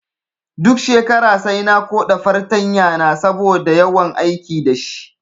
Duk shekara sai na koɗa fartanya na saboda yawan aiki dashi